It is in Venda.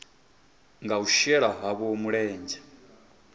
nga u shela havho mulenzhe